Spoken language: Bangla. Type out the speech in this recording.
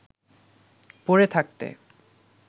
পড়ে থাকতে